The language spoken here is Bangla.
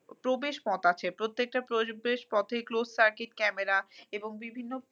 প্রবেশপথ আছে প্রত্যেকটা প্রবেশপথেই closed circuit camera এবং বিভিন্ন